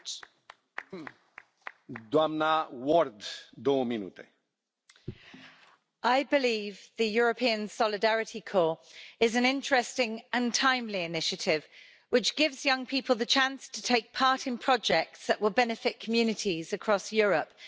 Mr President, I believe the European Solidarity Corps is an interesting and timely initiative which gives young people the chance to take part in projects that will benefit communities across Europe.